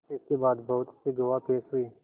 इसके बाद बहुत से गवाह पेश हुए